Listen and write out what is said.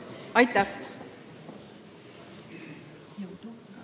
Aitäh!